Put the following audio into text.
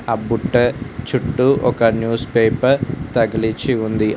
అ బుట్టే చుట్టూ ఒక న్యూస్ పేపర్ తగిలిచ్చి ఉంది.